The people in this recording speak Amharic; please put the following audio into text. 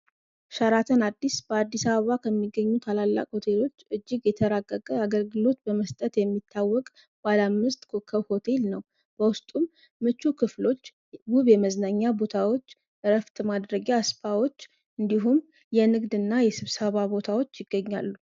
ሸራትን አዲስ በአዲሳባ ከሚገኙት አላላቅ ሆቴሎች እጅግ የተራጋገ አገርግሎት በመስጠት የሚታወቅ ባለ አምዝት ኮከብ ሆቴል ነው በውስጡም ምቹ ክፍሎች ውብ የመዝነኛ ቦታዎች እረፍት ማድረጊያ አስፓዎች እንዲሁም የንግድ እና የስብሳባ ቦታዎች ይገኛሉ።